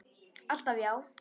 Alltaf já.